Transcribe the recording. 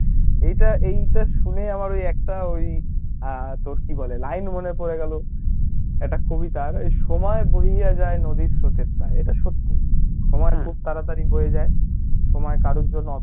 এটা এইটা শুনে আমার ওই একটা ওই আ কী বলে line মনে পড়ে গেলো একটা কবিতা, সময় বহিয়া যায় নদীর স্রোতের প্রায়, এটা সত্যি, সময় খুব তাড়াতাড়ি বয়ে যায় সময় কারুর জন্য